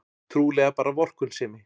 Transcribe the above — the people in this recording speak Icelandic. Trúlega bara vorkunnsemi.